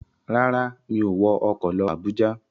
Rárá, mi ò wọ ọkọ̀ lọ Àbújá.